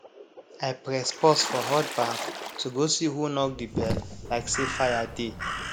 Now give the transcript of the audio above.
i press pause for hot baff to go see who knock the bell like say fire dey